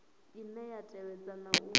ine ya tevhedza na u